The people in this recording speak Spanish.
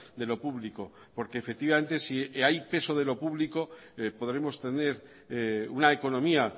de lo público porque efectivamente si hay peso de lo público podremos tener una economía